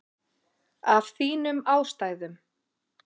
Af þínum ástæðum.